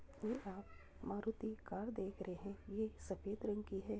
ये आप मारुती कार देख रहें | ये सफ़ेद रंग की है ।